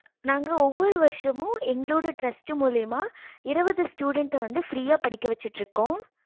நாங்க ஒவ்வொரு வருசமும் எங்களோட trast மூலையுமா இருபது student வந்து free படிக்க வச்சிட்டு இருக்கோம்